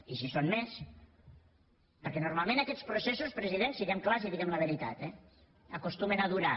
i si en són més perquè normalment aquests processos president siguem clars i diguem la veritat eh acostumen a durar